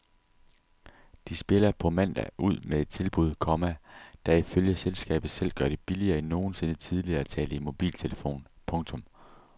De spiller på mandag ud med et tilbud, komma der ifølge selskabet selv gør det billigere end nogensinde tidligere at tale i mobiltelefon. punktum